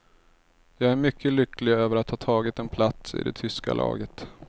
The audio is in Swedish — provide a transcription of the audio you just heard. Jag är mycket lycklig över att ha tagit en plats i det tyska laget.